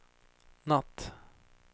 natt